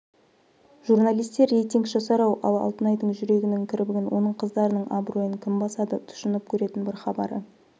журналистер рейтинг жасар-ау ал алтынайдың жүрегінің кірбіңін оның қыздарының абыройын кім басады тұщынып көретін бір хабары